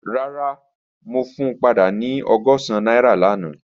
Rara, mo fun pada ni ọgọ́sán naira lana.